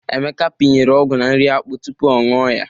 Emeka pịnyere ọgwụ na nri akpụ tupu ọ nụọ ya.